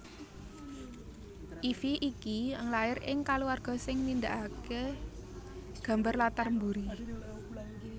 Ify iki lair ing kulawarga sing nindakake gambar latar mburi